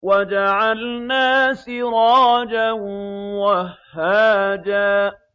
وَجَعَلْنَا سِرَاجًا وَهَّاجًا